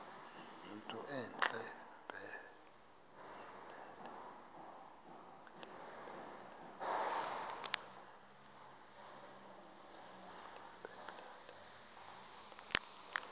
yinto entle mpelele